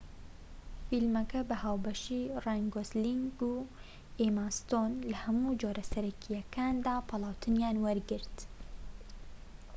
فیلمەکە بە هاوبەشی ڕاین گۆسلینگ و ئێما ستۆن لە هەموو جۆرە سەرەکیەکیاندا پاڵاوتنیان وەرگرت